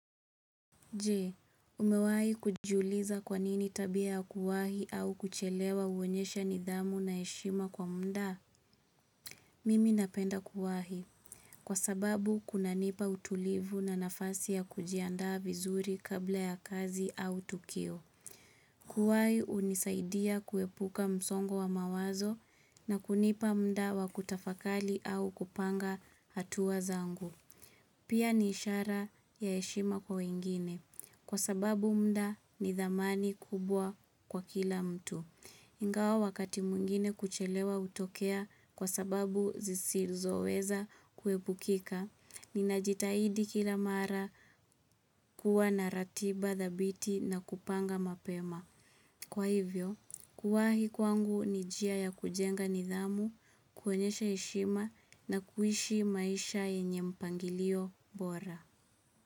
Je, umewai kujiuliza kwa nini tabia ya kuwahi au kuchelewa uonyesha nidhamu na heshima kwa mda? Mimi napenda kuwahi. Kwa sababu, kunanipa utulivu na nafasi ya kujiandaa vizuri kabla ya kazi au tukio. Kuwahi, unisaidia kuepuka msongo wa mawazo na kunipa mda wa kutafakali au kupanga hatua zangu. Pia ni ishara ya heshima kwa wengine, kwa sababu mda ni dhamani kubwa kwa kila mtu. Ingawa wakati mwingine kuchelewa hutokea kwa sababu zisizoweza kuwebukika, ninajitahidi kila mara kuwa na ratiba dhabiti na kupanga mapema. Kwa hivyo, kuwahi kwangu ni jia ya kujenga nidhamu, kuonyesha heshima na kuishi maisha yenye mpangilio bora.